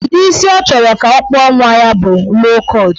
Udi isi ọ chọrọ ka akpụọ nwa ya bụ low kọt.